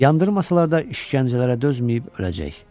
Yandırmasalar da işgəncələrə dözməyib öləcək.